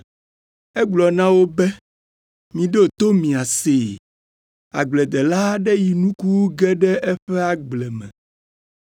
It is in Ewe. Egblɔ na wo be, “Miɖo to miasee! Agbledela aɖe yi nuku wu ge ɖe eƒe agble me.